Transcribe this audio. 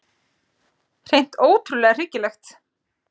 Hreint ótrúlega hryggilegt.